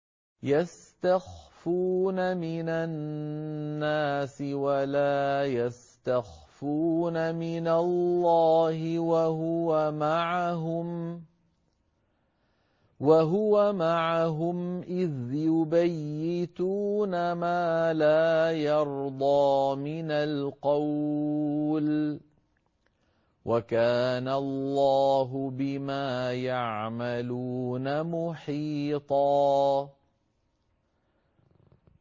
يَسْتَخْفُونَ مِنَ النَّاسِ وَلَا يَسْتَخْفُونَ مِنَ اللَّهِ وَهُوَ مَعَهُمْ إِذْ يُبَيِّتُونَ مَا لَا يَرْضَىٰ مِنَ الْقَوْلِ ۚ وَكَانَ اللَّهُ بِمَا يَعْمَلُونَ مُحِيطًا